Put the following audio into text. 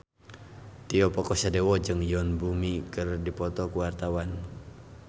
Tio Pakusadewo jeung Yoon Bomi keur dipoto ku wartawan